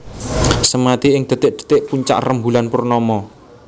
Semadi ing dhetik dhetik puncak rembulan purnama